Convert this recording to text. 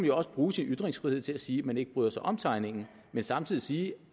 jo også bruge sin ytringsfrihed til at sige at man ikke bryder sig om tegningerne men samtidig sige